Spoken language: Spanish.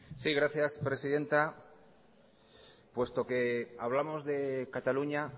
sí gracias presidenta puesto que hablamos de cataluña